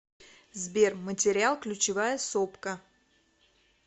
сбер материал ключевая сопка